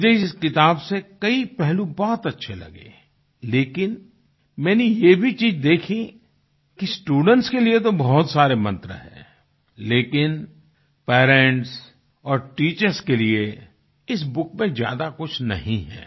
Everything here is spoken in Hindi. मुझे इस किताब से कई पहलू बहुत अच्छे लगे लेकिन मैंने ये भी चीज़ देखी कि स्टूडेंट्स के लिए तो बहुत सारे मंत्र है लेकिन पेरेंट्स और टीचर्स के लिए इस बुक में ज्यादा कुछ नहीं है